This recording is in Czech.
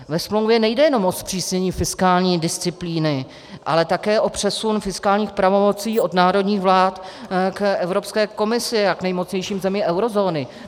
Ve smlouvě nejde jenom o zpřísnění fiskální disciplíny, ale také o přesun fiskálních pravomocí od národních vlád k Evropské komisi a k nejmocnějším zemím eurozóny.